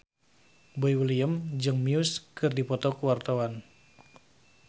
Boy William jeung Muse keur dipoto ku wartawan